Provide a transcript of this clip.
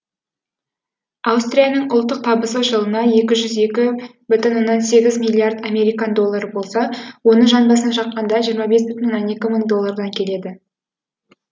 аустрияның ұлттық табысы жылына екі жүз бүтін оннан сегіз миллиард американ доллары болса оны жан басына шаққанда жиырма бес бүтін оннан екі мың долллардан келеді